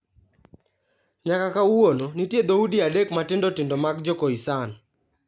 Nyaka kawuono, nitie dhoudi adek matindo tindo mag Jo-Khoisan.